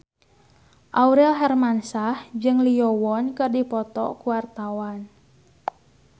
Aurel Hermansyah jeung Lee Yo Won keur dipoto ku wartawan